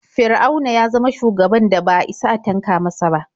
Fir'auna ya zama shugaban da ba a isa a tanka masa ba.